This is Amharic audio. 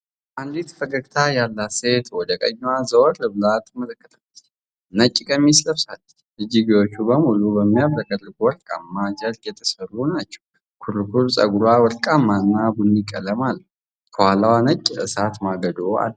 አንዲት ፈገግታ ያላት ሴት ወደ ቀኝዋ ዘወር ብላ ትመለከታለች። ነጭ ቀሚስ ለብሳለች፣ እጅጌዎቹ በሙሉ በሚያብረቀርቅ ወርቃማ ጨርቅ የተሠሩ ናቸው። ኩርኩር ፀጉሯ ወርቃማና ቡኒ ቀለም አለው። ከኋላዋ ነጭ የእሳት ማገዶ አለ።